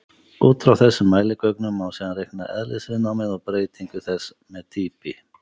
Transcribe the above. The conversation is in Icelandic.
Út frá þessum mæligögnum má síðan reikna eðlisviðnámið og breytingu þess með dýpi.